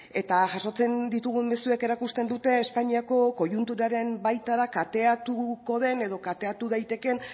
eta jasotzen ditugun mezuek erakusten dute espainiako koiunturaren baita da kateatuko den edo kateatu daitekeen